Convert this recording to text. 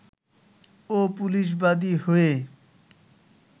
ও police বাদী হয়ে